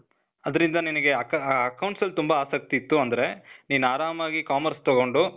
ಅದ್ರಿಂದ ನಿನಿಗೆ, ಅಕ accounts ಅಲ್ ತುಂಬ ಆಸಕ್ತಿ ಇತ್ತು ಅಂದ್ರೆ, ನೀನ್ ಆರಾಮಾಗಿ commerce ತಗೊಂಡು,